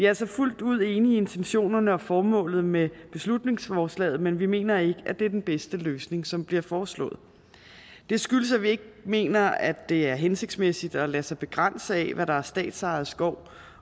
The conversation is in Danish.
altså fuldt ud enige i intentionerne og formålet med beslutningsforslaget men vi mener ikke at det er den bedste løsning som bliver foreslået det skyldes at vi ikke mener at det er hensigtsmæssigt at lade sig begrænse af hvad der er statsejet skov